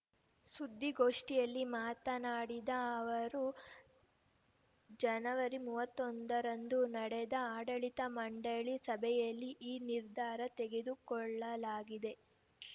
ಸುದ್ದಿಗೋಷ್ಠಿಯಲ್ಲಿ ಮಾತನಾಡಿದ ಅವರು ಜನವರಿ ಮೂವತ್ತೊಂದರಂದು ನಡೆದ ಆಡಳಿತ ಮಂಡಳಿ ಸಭೆಯಲ್ಲಿ ಈ ನಿರ್ಧಾರ ತೆಗೆದುಕೊಳ್ಳಲಾಗಿದೆ